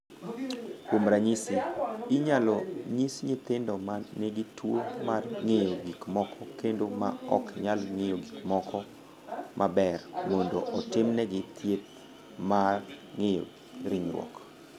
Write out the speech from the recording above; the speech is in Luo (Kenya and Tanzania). "Kuom ranyisi, inyalo nyis nyithindo ma nigi tuwo mar ng’iyo gik moko kendo ma ok nyalo ng’iyo gik moko maber mondo otimnegi thieth mar ng’iyo ringruok."